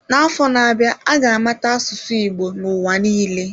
N'afọ na-abịa, a ga-amata asụsụ Igbo n'ụwa niile.